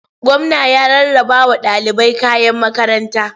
Gwamna ya rarrabawa ɗalibai kayan makaranta.